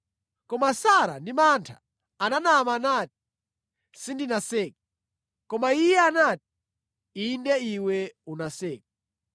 Koma Sara ndi mantha ananama nati, “Sindinaseke.” Koma Iye anati, “Inde iwe unaseka.”